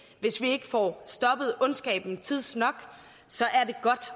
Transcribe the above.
hvis vi ikke får stoppet ondskaben tidsnok så er det godt